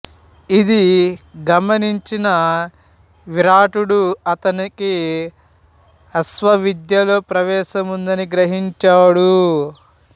ఇది గమనించిన విరాటుడు అతనికి అశ్వవిద్యలో ప్రవేశం ఉన్నదని గ్రహించాడు